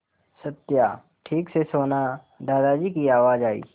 सत्या ठीक से सोना दादाजी की आवाज़ आई